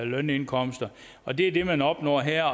lønindkomster og det er det man opnår her